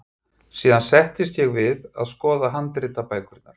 Síðan settist ég við að skoða handritabækurnar.